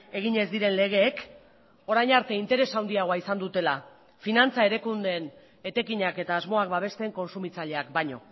egin ez diren legeek orain arte interes handiagoa izan dutela finantza erakundeen etekinak eta asmoak babesten kontsumitzaileak baino